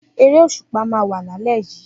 Eré òṣùpá máa wà lálé yíí